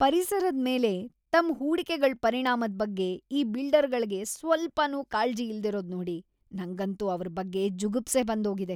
ಪರಿಸರದ್ ಮೇಲೆ ತಮ್ ಹೂಡಿಕೆಗಳ್ ಪರಿಣಾಮದ್ ಬಗ್ಗೆ ಈ ಬಿಲ್ಡರ್ಗಳ್ಗೆ ಸ್ವಲ್ಪನೂ ಕಾಳ್ಜಿ ಇಲ್ದಿರೋದ್‌ ನೋಡಿ ನಂಗಂತೂ ಅವ್ರ್‌ ಬಗ್ಗೆ ಜುಗುಪ್ಸೆ ಬಂದೋಗಿದೆ.